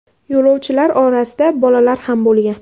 Yo‘lovchilar orasida bolalar ham bo‘lgan.